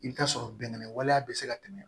I bɛ t'a sɔrɔ bɛnɛ waleya bɛ se ka tɛmɛ